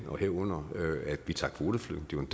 herunder at vi tager kvoteflygtninge